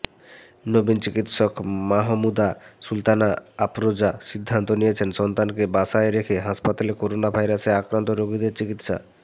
নবীন চিকিৎসক মাহমুদা সুলতানা আফরোজা সিদ্ধান্ত নিয়েছেন সন্তানকে বাসায় রেখে হাসপাতালে করোনাভাইরাসে আক্রান্ত রোগীদের চিকিৎসা